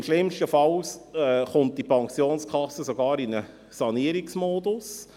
Schlimmstenfalls gerät diese Pensionskasse sogar in einen Sanierungsmodus.